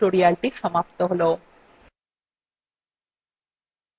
এখানেই libreoffice calcএর এই কথ্য tutorialthe সমাপ্ত হল